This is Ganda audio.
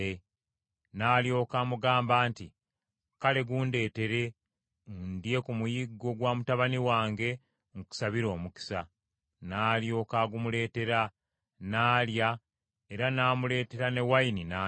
N’alyoka amugamba nti, “Kale gundeetere, ndye ku muyiggo gwa mutabani wange, nkusabire omukisa.” N’alyoka agumuleetera, n’alya era n’amuleetera n’envinnyo n’anywa.